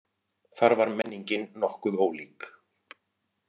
Þar var menningin nokkuð ólík.